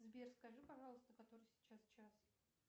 сбер скажи пожалуйста который сейчас час